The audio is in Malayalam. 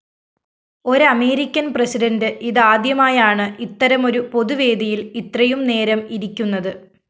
ഒരമേരിക്കന്‍ പ്രസിഡന്റ് ഇതാദ്യമായാണ് ഇത്തരമൊരു പൊതുവേദിയില്‍ ഇത്രയും നേരം ഇരിക്കുന്നത്